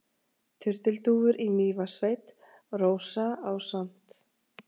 Turtildúfur í Mývatnssveit: Rósa ásamt